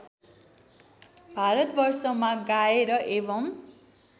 भारतवर्षमा गाएर एवं